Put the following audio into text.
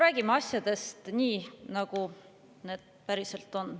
Räägime asjadest nii, nagu need päriselt on.